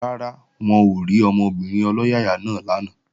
Rárá, wọn ò rí ọmọbìnrin ọlọ́yàyà náà lánàá